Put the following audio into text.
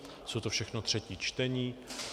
Jsou to všechno třetí čtení.